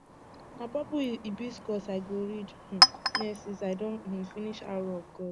na purple hibiscus i go read um next since i don um finish arrow of gods